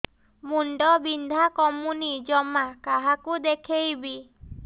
ମୁଣ୍ଡ ବିନ୍ଧା କମୁନି ଜମା କାହାକୁ ଦେଖେଇବି